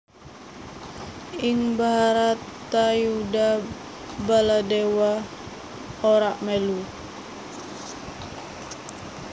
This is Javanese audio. Ing Bharatayuddha Baladewa ora mèlu